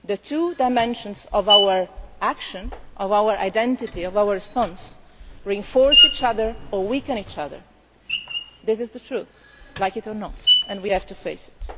The two dimensions of our action and of our identity and our response reinforce one another or weaken one another. This is the truth, like it or not, and we have to face it.